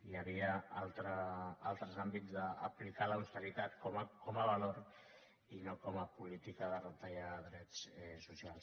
hi havia altres àmbits d’aplicar l’austeritat com a valor i no com a política de retallar drets socials